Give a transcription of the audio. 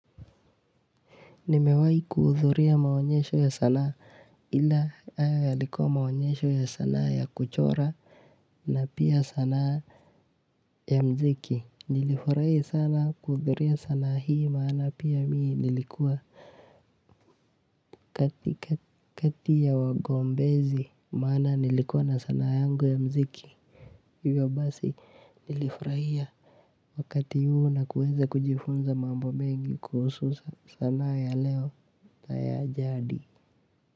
Nimewahi kuhudhuria maonyesho ya sanaa, ila hayo yalikuwa maonyesho ya sanaa ya kuchora na pia sanaa ya muziki. Nilifurahi sana kuhudhuria sanaa hii maana pia mimi nilikuwa kati ya wagombezi, maana nilikuwa na sanaa yangu ya muziki, hivyo basi nilifurahia wakati huo na kuweza kujifunza mambo mengi kuhusu sanaa ya leo na ya jadi.